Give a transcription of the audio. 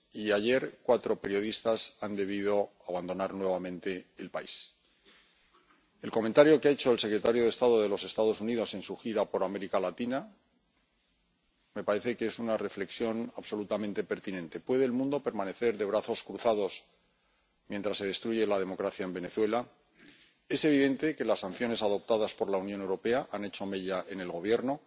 Y ayer cuatro periodistas tuvieron que abandonar nuevamente el país. Me parece que el comentario que ha hecho el secretario de Estado de los Estados Unidos en su gira por América Latina es una reflexión absolutamente pertinente ¿puede el mundo permanecer de brazos cruzados mientras se destruye la democracia en Venezuela? Es evidente que las sanciones adoptadas por la Unión Europea han hecho mella en el Gobierno.